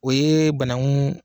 O ye banakun